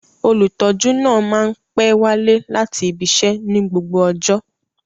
Olutọju naa ma n pẹ wale lati ibiṣẹ ni gbogbo ọjọ